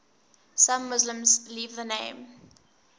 some muslims leave the name